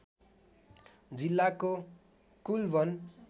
जिल्लाको कुल वन